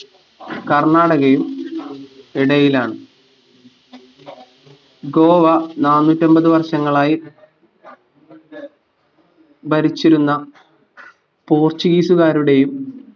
കർണാടകയും ഇടയിലാണ് ഗോവ നാനൂറ്റമ്പത് വർഷങ്ങളായി ഭരിച്ചിരുന്ന portuguese കാരുടെയും